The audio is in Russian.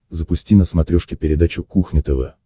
запусти на смотрешке передачу кухня тв